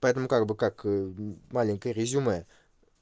поэтому как бы как маленькое резюме